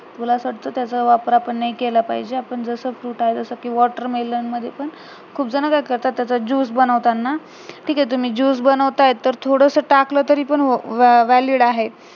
मला असं वाटतं त्याचा वापर आपण नाही केला पाहिजे आपण जसं fruit आहे जसेकी watermelon मध्ये पण खूप जण काय करतात त्याचा juice बनवताना ठीक आहे तुम्ही juice बनवताये तर थोडंसं टाकलं तरी पण valid आहे